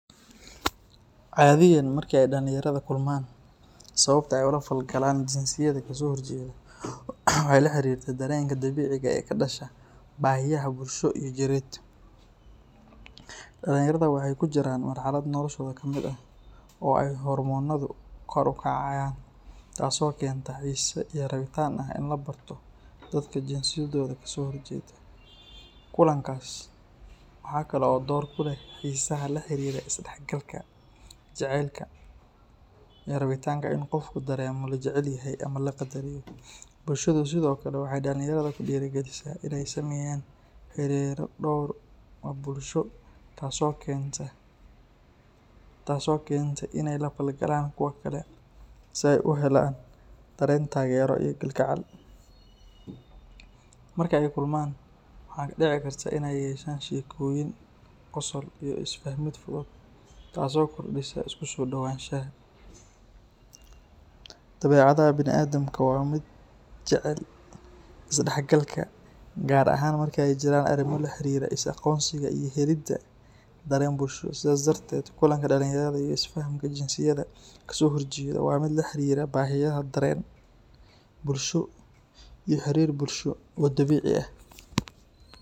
Cadiyan marka ay dhalinyarada kulmaan, sababta ay ula falgalaan jinsiyadda ka soo horjeeda waxay la xiriirtaa dareenka dabiiciga ah ee ka dhasha baahiyaha bulsho iyo jireed. Dhalinyarada waxay ku jiraan marxalad noloshooda ka mid ah oo ay hormoonadu kor u kacayaan, taas oo keenta xiise iyo rabitaan ah in la barto dadka jinsiyadda ka soo horjeeda. Kulankaas waxa kale oo door ku leh xiisaha la xiriira is-dhexgalka, jacaylka, iyo rabitaanka in qofku dareemo la jecelyahay ama la qadariyo. Bulshadu sidoo kale waxay dhalinyarada ku dhiirrigelisaa in ay sameeyaan xiriirro dhow oo bulsho, taas oo keenta in ay la falgalaan kuwa kale si ay u helaan dareen taageero iyo kalgacal. Marka ay kulmaan, waxaa dhici karta in ay yeeshaan sheekooyin, qosol, iyo is-fahmid fudud, taas oo kordhisa isku soo dhowaanshaha. Dabeecadda bani’aadamka waa mid jecel is-dhexgalka, gaar ahaan marka ay jiraan arrimo la xiriira is-aqoonsiga iyo helidda dareen bulsho. Sidaas darteed, kulanka dhalinyarada iyo is-fahamka jinsiyadda ka soo horjeeda waa mid la xiriira baahiyaha dareen, bulsho, iyo xiriir bulsho oo dabiici ah.